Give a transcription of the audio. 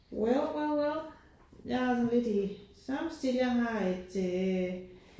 Well well well. Jeg er lidt i samme stil jeg har et øh